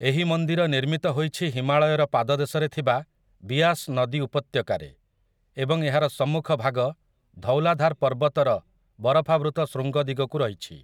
ଏହି ମନ୍ଦିର ନିର୍ମିତ ହୋଇଛି ହିମାଳୟର ପାଦଦେଶରେ ଥିବା ବିଆସ୍ ନଦୀ ଉପତ୍ୟକାରେ, ଏବଂ ଏହାର ସମ୍ମୁଖ ଭାଗ ଧୌଲାଧାର୍ ପର୍ବତର ବରଫାବୃତ ଶୃଙ୍ଗ ଦିଗକୁ ରହିଛି ।